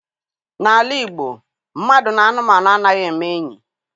N'ala Igbo mmadụ na anụmanụ anaghị eme enyi.